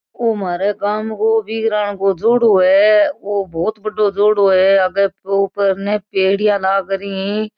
ओ म्हारे गाम के वीरान को जोड़ो है वो बहुत बड़ो जोड़ो है आगे ऊपर ने पेडीया लागरी ही।